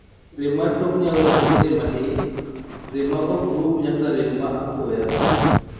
rem mar tok nyalo chako gi rem matin, rem ma ok rum nyaka rem ma apoya